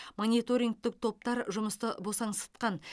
мониторингтік топтар жұмысты босаңсытқан